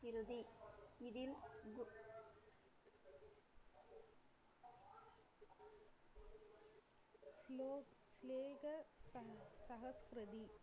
இறுதி இதில்